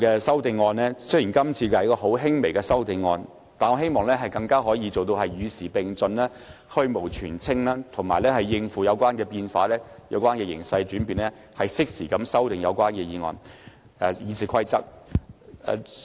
雖然今次的修訂很輕微，但我希望往後的修訂可以做到與時並進、去蕪存菁，應對有關形勢的轉變，適時修訂《議事規則》。